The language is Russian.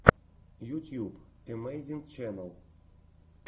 ютьюб эмэйзинг ченнал